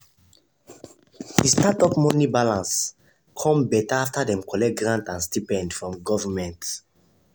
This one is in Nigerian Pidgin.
the startup money balance come better after dem collect grant and stipend from government.